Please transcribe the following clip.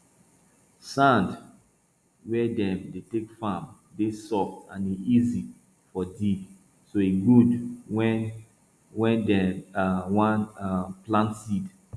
sand wey dem dey take farm dey soft and e easy for dig so e good wen wen dem um wan um plant seed